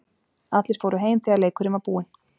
Allir fóru heim þegar leikurinn var búinn.